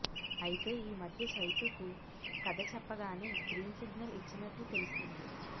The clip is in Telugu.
అయితే ఈ మధ్య చైతూకు కధ చెప్పగానే గ్రీన్ సిగ్నల్ ఇచ్చినట్లు తెలుస్తుంది